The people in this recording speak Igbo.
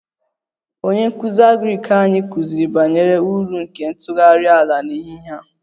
Onye nkụzi agrik anyị kụziri banyere uru nke ntụgharị ala n'ehihie a